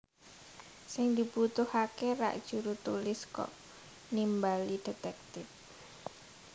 Sing dibutuhaké rak jurutulis kok nimbali detektip